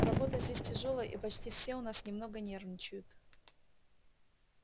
работа здесь тяжёлая и почти все у нас немного нервничают